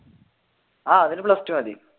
ആഹ് അതിന് plus two മതി